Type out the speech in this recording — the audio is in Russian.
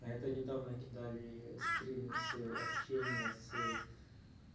а это недавно кидали скрины с общения с